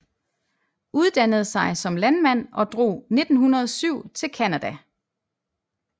Uddannede sig som landmand og drog 1907 til Canada